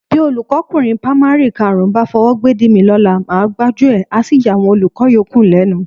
Bí olùkọ́kùnrin pamari karùn-ún bá fọwọ́ gbédìí mi lọ́la, màá gbájú ẹ̀, a sì yàwọn olùkọ́ yòókù lẹ́nu.